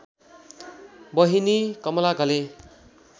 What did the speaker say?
बहिनी कमला घले